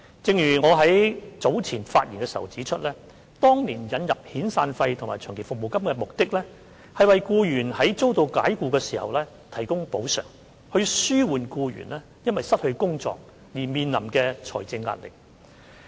正如我在早前發言時指出，當年引入遣散費及長期服務金的目的，是為僱員在遭解僱時提供補償，以紓緩僱員因失去工作而面臨的財政壓力。